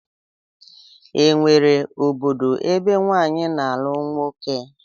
E nwere obodo ebe nwaanyị na-alụ nwoke?